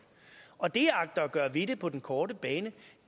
og det jeg agter at gøre ved det på den korte bane